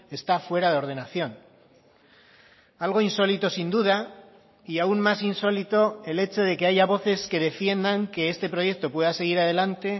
está fuera de ordenación algo insólito sin duda y aún más insólito el hecho de que haya voces que defiendan que este proyecto pueda seguir adelante